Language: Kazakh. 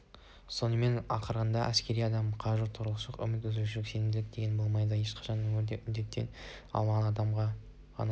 сонымен ақырында әскери адам үшін қажу торығушылық үміт үзушілік сенімсіздік деген болмайды ешқашан өмірде үміттене алмаған адам ғана